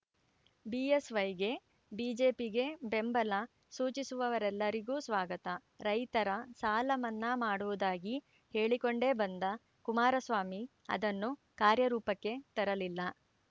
ಬಿಎಸ್‌ವೈಗೆ ಬಿಜೆಪಿಗೆ ಬೆಂಬಲ ಸೂಚಿಸುವವರೆಲ್ಲರಿಗೂ ಸ್ವಾಗತ ರೈತರ ಸಾಲ ಮನ್ನಾ ಮಾಡುವುದಾಗಿ ಹೇಳಿಕೊಂಡೇ ಬಂದ ಕುಮಾರಸ್ವಾಮಿ ಅದನ್ನು ಕಾರ್ಯ ರೂಪಕ್ಕೆ ತರಲಿಲ್ಲ